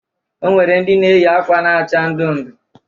O nwere ndị na-eyi akwa na-acha ndụ ndụ.